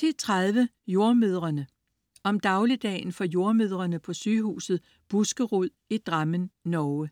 10.30 Jordemødrene. Om dagligdagen for jordemødrene på Sygehuset Buskerud i Drammen, Norge